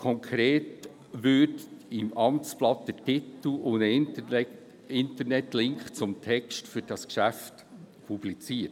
Konkret würde im Amtsblatt der Titel und ein Internetlink zum Text des Geschäfts publiziert.